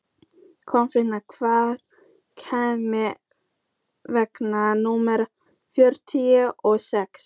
Kolfinna, hvenær kemur vagn númer fjörutíu og sex?